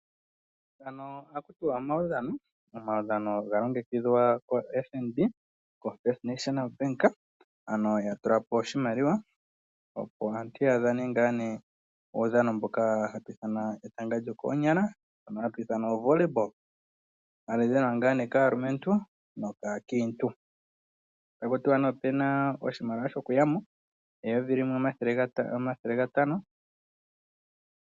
Ngano ohaku tiwa omaudhano ano galongekidhwa koFNB ombaanga yotango, ano yatula po oshimaliwa opo aantu yadhane uudhano wetanga lyokoonyala hawu ithanwa oVolly Ball hawu dhanwa kaakiintu nokaalumentu. Otaku tiwa opuna oshimaliwa shoku ishangitha sho$1500.